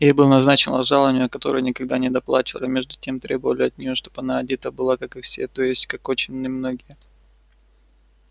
ей было назначено жалованье которое никогда не доплачивали а между тем требовали от неё чтоб она одета была как и все то есть как очень немногие